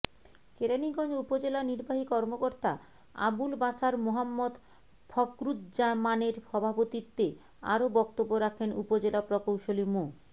কেরানীগঞ্জ উপজেলা নির্বাহী কর্মকর্তা আবুল বাসার মোহাম্মদ ফখরুজ্জামানের সভাপতিত্বে আরও বক্তব্য রাখেন উপজেলা প্রকৌশলী মো